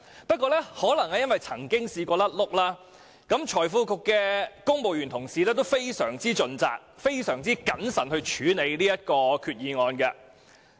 不過，可能正正因為曾出意外，財經事務及庫務局的公務員同事都格外盡責，慎重處理這項決議案。